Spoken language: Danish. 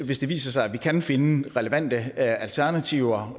hvis det viser sig at vi kan finde relevante alternativer